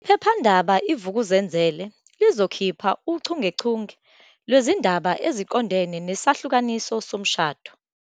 Iphephandaba i-Vukuzenzele lizokhipha uchungechunge lwezindaba eziqondene nesahlukaniso somshado.